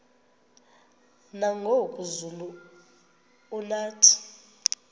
nangoku zulu uauthi